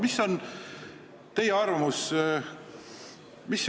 Mis on teie arvamus?